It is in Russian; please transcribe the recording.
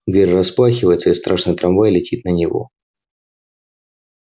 дверь распахивается и страшный трамвай летит на него